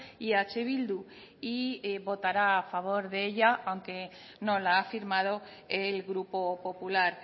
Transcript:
y eh bildu y votará a favor de ella aunque no la ha firmado el grupo popular